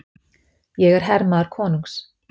Ég er hermaður konungs.